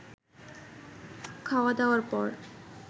খাওয়া দাওয়ার পর